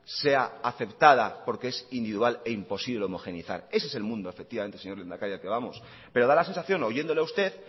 sea aceptada porque es individual e imposible homogeneizar ese es el mundo efectivamente señor lehendakari al que vamos pero da la sensación oyéndole a usted